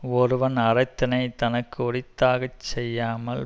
ஒருவன் அறத்தினைத் தனக்கு உரித்தாகச் செய்யாமல்